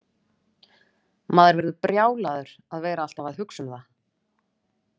Maður verður brjálaður að vera alltaf að hugsa um það.